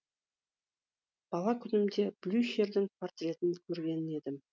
бала күнімде блюхердің портретін көрген едім